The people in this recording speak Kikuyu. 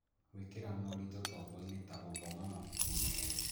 Gwĩkĩra moritũ tombo-inĩ, ta gũthoma mabuku merũ